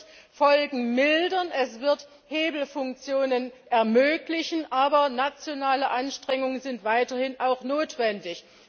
Es wird Folgen mildern, es wird Hebelfunktionen ermöglichen, aber nationale Anstrengungen sind auch weiterhin notwendig.